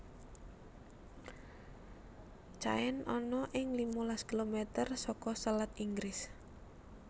Caen ana ing limalas kilometer saka selat Inggris